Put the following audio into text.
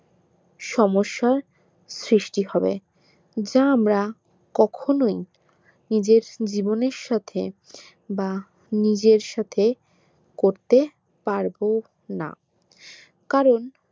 সমস্যার সৃষ্টি হবে যা আমরা কখনোই নিজের জীবনের সাথে বা নিজের সাথে করতে পারবোনা কারণ